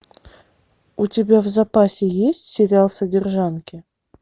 у тебя в запасе есть сериал содержанки